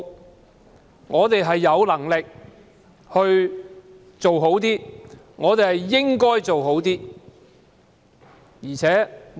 如果我們有能力做好一點，便應該這樣做。